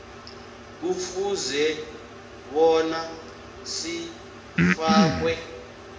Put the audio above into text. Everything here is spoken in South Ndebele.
kufuze bona sifakwe